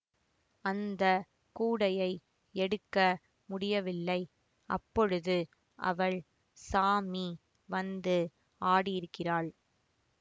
அந்த கூடையை எடுக்க முடியவில்லை அப்பொழுது அவள் சாமி வந்து ஆடியிருக்கிறாள்